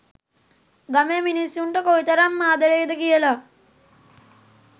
ගමේ මිනිස්සුන්ට කොයිතරම් ආදරෙයි ද කියලා